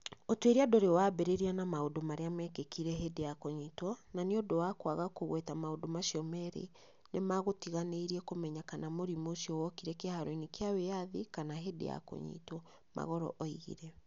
"Ũtuĩria ndũrĩ wambĩrĩria na maũndũ marĩa meekĩkire hĩndĩ ya kũnyitwo, na nĩ ũndũ wa kwaga kũgweta maũndũ macio merĩ, nĩ magũtiganĩirie kũmenya kana mũrimũ ũcio wokire kĩharo-inĩ kĩa wĩyathi kana hĩndĩ ya kũnyitwo", Magolo oigire.